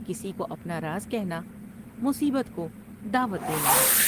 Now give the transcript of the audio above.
کسی کو اپنا راز کہنا مصیبت کو دعوت دینا ہے ۔